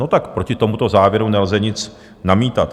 No tak proti tomuto závěru nelze nic namítat.